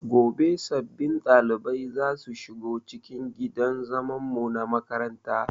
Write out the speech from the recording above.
Gobe sabbin ɗaliban zasu shigo cikin gidan zaman mu na makaranta